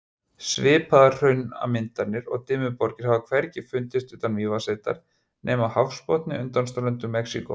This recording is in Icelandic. Svipaðar hraunmyndanir og Dimmuborgir hafa hvergi fundist utan Mývatnssveitar nema á hafsbotni undan ströndum Mexíkó.